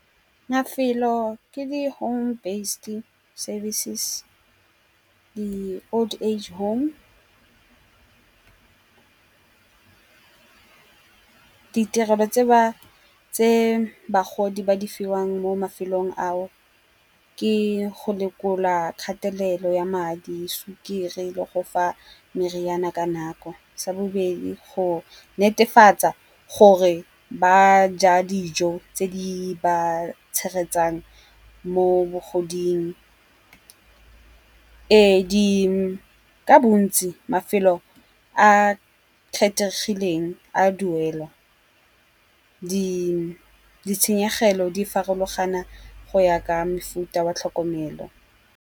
Mafelo ke di home based services, di Old Age Home . Diterelo tse bagodi ba di fiwang mo mafelong ao ke go lekola kgatelelo ya madi, sukiri le go fa meriana ka nako. Sa bobedi go netefatsa gore ba ja dijo tse di ba tshegetsang mo bogoding. Ee, ka bontsi mafelo a kgethegileng a duelwa, ditshenyegelo di farologana go ya ka mofuta wa tlhokomelo.